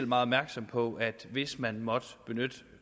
meget opmærksom på at det hvis man måtte benytte